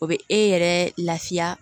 O bɛ e yɛrɛ lafiya